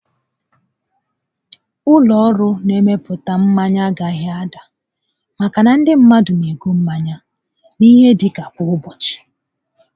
Ụlọ ọrụ mmepụta mmanya agaghị ada maka na ndị mmadụ n'ego mmanya ihe dịka kwa ụbọchị